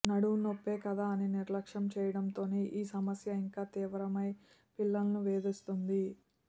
నడుమునొప్పే కదా అని నిర్లక్ష్యం చేయడంతోనే ఈ సమస్య ఇంకా తీవ్రమై పిల్లలను వేధిస్తోంది